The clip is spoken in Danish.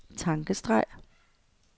tankestreg